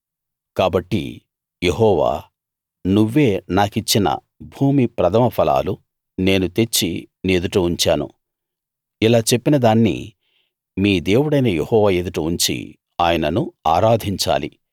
కాబట్టి యెహోవా నువ్వే నాకిచ్చిన భూమి ప్రథమ ఫలాలు నేను తెచ్చి నీ ఎదుట ఉంచాను ఇలా చెప్పిదాన్ని మీ దేవుడైన యెహోవా ఎదుట ఉంచి ఆయనను ఆరాధించాలి